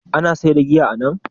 Ana saida giya anan?